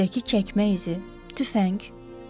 Küncdəki çəkmə izi, tüfəng?